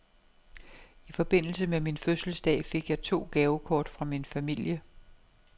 I forbindelse med min fødselsdag fik jeg to gavekort fra min familie.